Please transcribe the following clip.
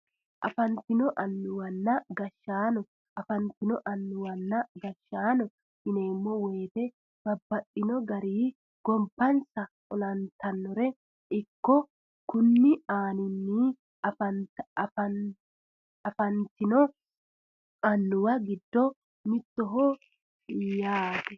Afanitinno annuwana gashaano. Afanitto annuwanna gashaano yineemo woyite babbaxino garii gobbanisa olanittanore ikkana kuni annino afanittino annuwa giddo mittoho yaate.